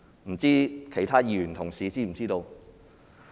不知其他議員同事是否知道？